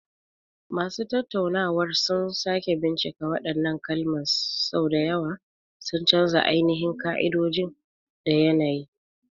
Masu tattaunawar sun sake bincika waɗannan kalaman sau da yawa, sun canja ainihin ƙa'idoji da yanayi.